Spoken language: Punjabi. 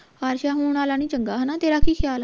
ਆਸ਼ਾ ਹੁਣ ਆਲਾ ਨੀ ਚੰਗਾ ਹਣਾ ਤੇਰਾ ਕਿ ਖਿਆਲ ਆ